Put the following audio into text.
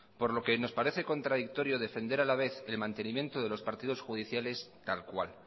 por lo que nos parece contradictorio defender a la vez el mantenimiento de los partidos judiciales tal cual